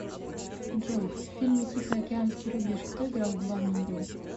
джой в фильме тихоокеанский рубеж кто играл главную роль